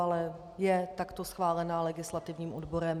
Ale je takto schválená legislativním odborem.